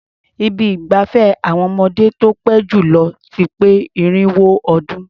Ibi ìgbafẹ́ àwọn ọmọdé tó pé jù lọ ti pé irinwó ọdún.